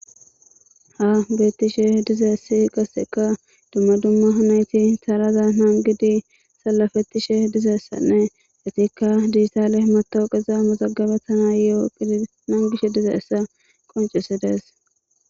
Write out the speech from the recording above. Ha geettishe dizeessi qasseka dumma dumma yunayti salaza nangidi salafettishe dizeessanne atikka distaale matawuqeza masagabetana yiooqi nangishe dize essa qoncisi dees.